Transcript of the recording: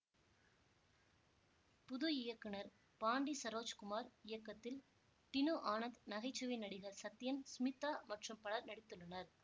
புது இயக்குனர் பாண்டி சரோஜ் குமார் இயக்கத்தில் டினு ஆனந்த் நகைச்சுவை நடிகர் சத்யன் ஸ்மிதா மற்றும் பலர் நடித்துள்ளனர்